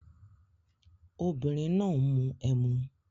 Obìnrin náà ń mu emu